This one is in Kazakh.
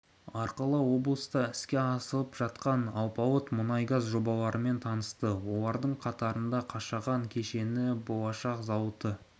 арқылы облыста іске асып жатқан алпауыт мұнай-газ жобаларымен танысты олардың қатарында қашаған кеніші болашақ зауыты